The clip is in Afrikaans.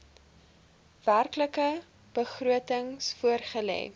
werklike begrotings voorgelê